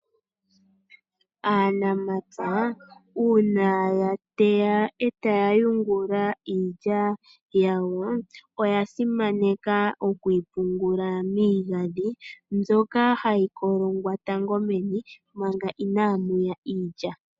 Aanamapya una yateya etaya yungula iilya yawo oya simaneka okuyi pungula miigadhi mbyoka hayi kolongwa tango meni manga ina muya pungulwa iilya.